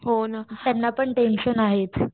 हो ना ग त्यांना पण टेन्शन आहेच.